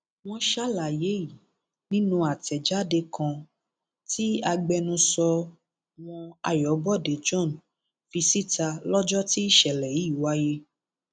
wọn ṣàlàyé yìí nínú àtẹjáde kan tí agbẹnusọ wọn ayọbọdé john fi síta lọjọ tí ìṣẹlẹ yìí wáyé